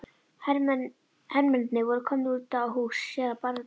Hermennirnir voru komnir út að húsi séra Bjarna.